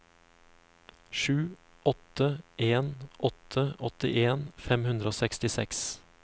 sju åtte en åtte åttien fem hundre og sekstiseks